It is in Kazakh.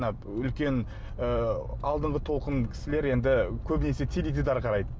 мына үлкен ы алдыңғы толқын кісілер енді көбінесе теледидар қарайды